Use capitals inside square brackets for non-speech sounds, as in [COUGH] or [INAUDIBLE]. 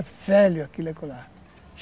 É velho aquilo [UNINTELLIGIBLE] acolá